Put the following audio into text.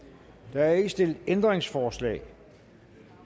der er ikke stillet ændringsforslag